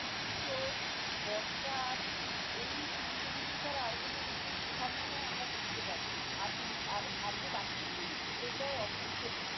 গ্রীষ্ম বর্ষা শীত এই তিনটা ঋতু ছাড়া আর কোন ঋতু প্রভাব বোধহয় আমরা বুঝতে পারি না। আর তিন আর আর যে বাকি তিনটা ঋতু এটা অবলুপ্তের পথে।